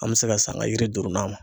An be se ka s'an ka yiri duurunan ma.